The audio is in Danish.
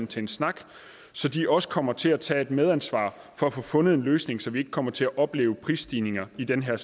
til en snak så de også kommer til tage medansvar for at få fundet en løsning så vi ikke kommer til at opleve prisstigninger i den her